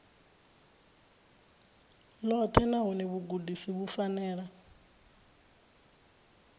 ḽoṱhe nahone vhugudisi vhu fanela